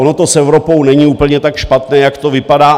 Ono to s Evropou není úplně tak špatné, jak to vypadá.